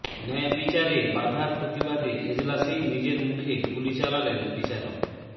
ন্যায়বিচারে বাধার প্রতিবাদে এজলাসেই নিজের মুখে গুলি চালালেন বিচারক